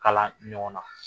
Kala ɲɔgɔn na.